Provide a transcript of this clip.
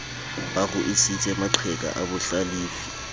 ba ruisitse maqheka a bohlalefi